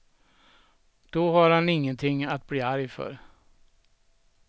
Då har han ingenting att bli arg för.